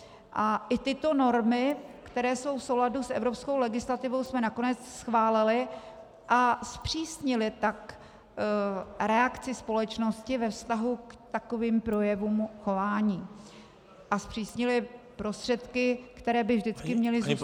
A i tyto normy, které jsou v souladu s evropskou legislativou, jsme nakonec schválili, a zpřísnili tak reakci společnosti ve vztahu k takovým projevům chování a zpřísnili prostředky, které by vždycky měly zůstat těmi -